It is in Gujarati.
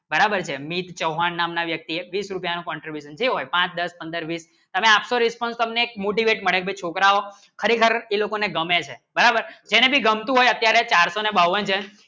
બરાબર છે મીટ ચવાણ ના વ્યક્તિ બીસ રૂપિયા નો contribution હોય જે હોય પાંચ દસ પંદર બીસ તમે આખો રેસ્પોન્સે હમને મોટી મને ભી ઠુકરાવી ખરોખર એ લોગો ને ગમે છે બરાબર જેને ભી ગમતું હોય અત્યારે ચાર સો ને બાવન